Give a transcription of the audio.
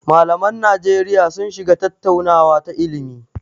Malaman Najeriya sun shiga tattaunawa ta ilimi.